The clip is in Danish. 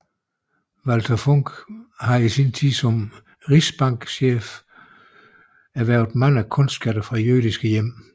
Walther Funk havde i sin tid som rigsbankchef erhvervet mange kunstskatte fra jødiske hjem